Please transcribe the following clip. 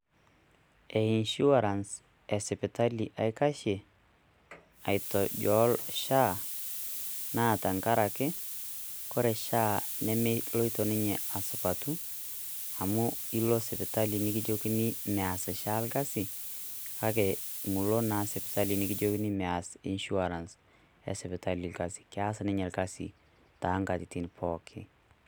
Eesuarance esipitali aikashie aitojool ESHA naa tengaraki ore. SOCIAL HEALTH AUTHORITY nemeloito ninye asupatu amu ilo sipitali nikijokini meas SHA orkasi kake Milo naa sipitali nikijokini meas enisuarance esipitali orkasi keas ninye orkasi too ngatitin pooki.